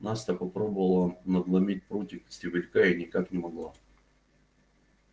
настя попробовала надломить прутик стебелька и никак не могла